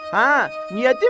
Hə, niyə demirsən?